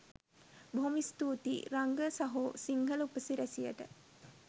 බොහොම ස්තූතියි රංග සහෝ සිංහල උපසිරැසියට.